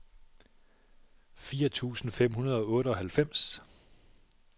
fire tusind fem hundrede og otteoghalvfems